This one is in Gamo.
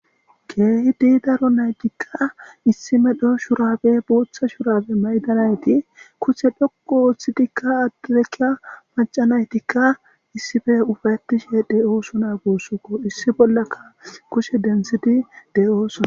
Keehidi daro naygikka issi medho shurafe booththa shurafe maydanayti kushe dhoqo ooththitikka addareka macanaytikka issife ufattishe de'oosuna guussuko issi bollaka kushe densiti de'oosona.